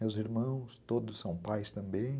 Meus irmãos, todos são pais também.